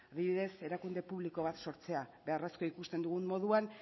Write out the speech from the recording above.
bidez erakunde publiko bat sortzea beharrezkoa ikusten dugun moduan